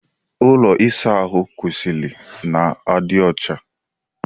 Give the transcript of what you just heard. Ụlọ ịsa ahụ kwesịrị ị na-adị ọcha.